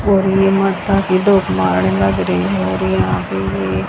और ये मत्ता की दो लग रही हैं और यहाँ पर ये --